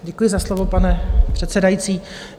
Děkuji za slovo, pane předsedající.